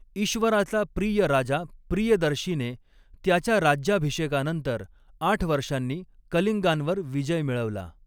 ईश्वराचा प्रिय राजा प्रियदर्शीने त्याच्या राज्याभिषेकानंतर आठ वर्षांनी कलिंगांवर विजय मिळवला.